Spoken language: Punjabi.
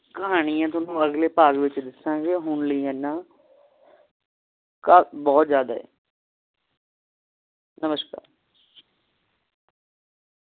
ਕਹਾਣੀਆਂ ਤੁਹਾਨੂੰ ਅਗਲੇ ਭਾਗ ਵਿਚ ਦੱਸਾਂਗੇ ਹੁਣ ਲਈ ਇਹਨਾ ਕਾ ਬਹੁਤ ਜ਼ਯਾਦਾ ਹੈ ਨਮਸਕਾਰ